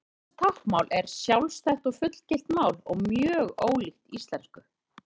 Íslenskt táknmál er sjálfstætt og fullgilt mál og mjög ólíkt íslensku.